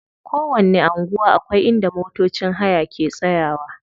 Kowanni anguwa akwai inda motocin haya ke tsayawa.